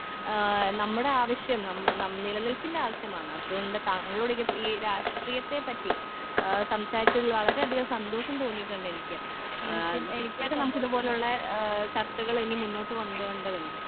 ആ നമ്മടെ ആവശ്യം നം നം നിലനിൽപ്പിന്റെ ആവശ്യമാണ് അതുകൊണ്ട് താങ്കളോ ഈ രാഷ്ട്രീയത്തെ പറ്റി ആ സംസാരിച്ചതിൽ വളരെ അധികം സന്തോഷം തോന്നീട്ടുണ്ടെനിക്ക് ആ നമുക്കിത് പോലുള്ള ഏ ചർച്ചകള് ഇനി മുന്നോട്ട് കൊണ്ട് പോകണ്ടതുണ്ട്.